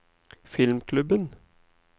filmklubben